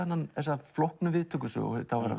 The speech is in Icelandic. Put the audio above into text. þessa flóknu